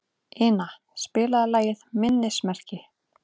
Ina, spilaðu lagið „Minnismerki“.